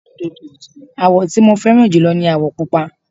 àwọ̀ tí mo fẹ́ràn jùlọ ní àwọ̀ pupa